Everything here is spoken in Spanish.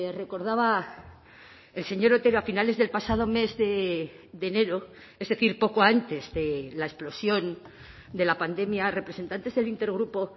recordaba el señor otero a finales del pasado mes de enero es decir poco antes de la explosión de la pandemia representantes del intergrupo